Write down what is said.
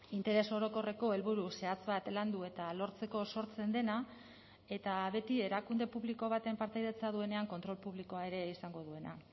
interes orokorreko helburu zehatz bat landu eta lortzeko sortzen dena eta beti erakunde publiko baten partaidetza duenean kontrol publikoa ere izango duena